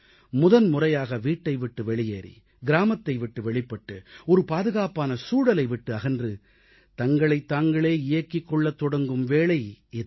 முதன்முறையாக வீட்டை விட்டு வெளியேறி கிராமத்தை விட்டு வெளிப்பட்டு ஒரு பாதுகாப்பான சூழலை விட்டு அகன்று தங்களைத் தாங்களே இயக்கிக் கொள்ளத் தொடங்கும் வேளை இது